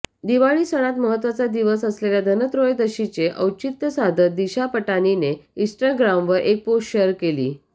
दिवाळी सणात महत्त्वाचा दिवस असलेल्या धनत्रयोदशीचे औचित्य साधत दिशा पटानीने इंस्टाग्रामवर एक पोस्ट शेअर केली